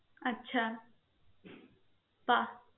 আচ্ছা পা~